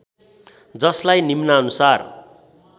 जसलाई निम्नानुसार